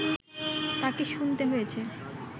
তাকে শুনতে হয়েছে